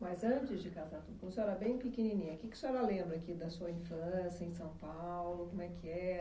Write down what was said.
Mas antes de casar, quando a senhora era bem pequenininha, que que a senhora lembra aqui da sua infância em São Paulo, como é que era